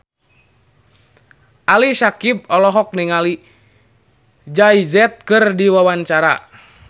Ali Syakieb olohok ningali Jay Z keur diwawancara